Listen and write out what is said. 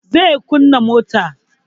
Zai kunna motan